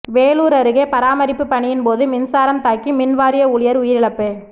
வேலூர் அருகே பராமரிப்பு பணியின்போது மின்சாரம் தாக்கி மின் வாரிய ஊழியர் உயிரிழப்பு